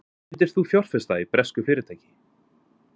Myndir þú fjárfesta í bresku fyrirtæki?